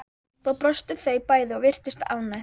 Þá brostu þau bæði og virtust ánægð.